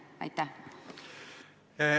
Aitäh!